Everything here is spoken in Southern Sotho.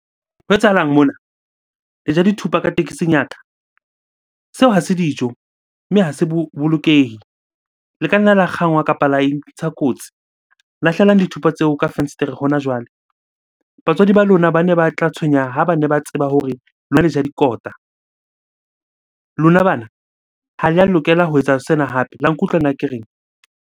Ho etsahalang mona? Le ja dithupa ka tekesing ya ka. Seo ha se dijo, mme ha se bolokehe. Le ka nna la kgangwa kapa la intsha kotsi Lahlelang dithupa tseo ka fensetere hona jwale. Batswadi ba lona bane ba tla tshwenyeha ha bane ba tseba hore lona le ja dikota. Lona bana, ha le a lokela ho etsa sena hape la nkutlwa na ke reng?